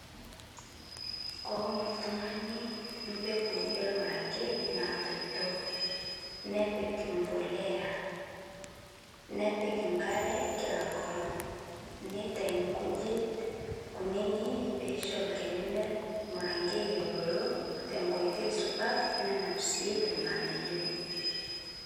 Kowun ltung'ani mpeguu elmurankei natoitoo nepik mpolea nepik nkare kila nkolong' neitai nkujit kuninii peisho lkeni le lmurankei ebuluu tenkoitei supat nenap sii lganayoo.